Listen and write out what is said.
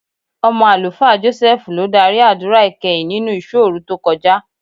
Ọmọ Àlùfáà Jọ́sẹ́ẹ́fù ló dárí àdúrà ìkẹyìn nínú ìṣọ́òru tó kọjá.